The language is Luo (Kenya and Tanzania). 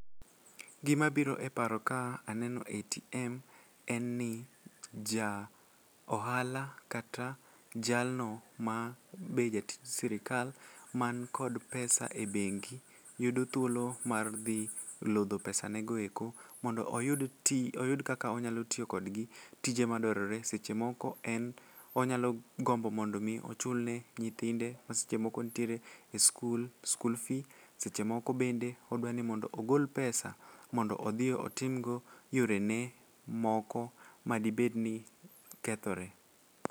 Gimabiro e paro ka aneno atm en ni ja ohala kata jalno ma be jatij sirikal man kod pesa e bengi yudo thuolo mar dhi lodho pesanego eko mondo oyud kaka onyalo tiyo kodgi tije madwarore seche moko en onyalo gombo mondo omi ochulne nyithinde ma seche moko ntiere e skul school fee seche moko bende odwa ni mondo ogol pesa mondo odhi otimgo yorene moko madibedni kethore.